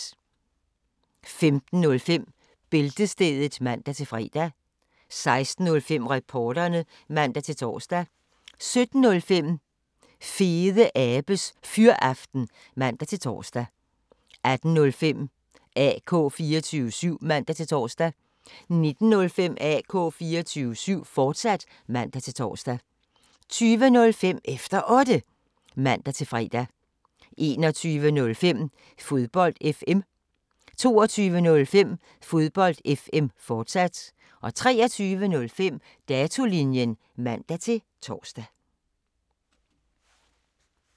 15:05: Bæltestedet (man-fre) 16:05: Reporterne (man-tor) 17:05: Fede Abes Fyraften (man-tor) 18:05: AK 24syv (man-tor) 19:05: AK 24syv, fortsat (man-tor) 20:05: Efter Otte (man-fre) 21:05: Fodbold FM 22:05: Fodbold FM, fortsat 23:05: Datolinjen (man-tor)